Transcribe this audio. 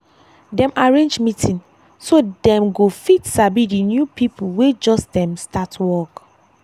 dem arrange meeting so dem go fit sabi d new people wey just um start work